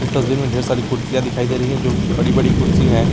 इस तस्वीर में ढेर सारी कुर्सियां कुर्सियां दिखाई दे रही हैं जो बड़ी बड़ी कुर्सियां है।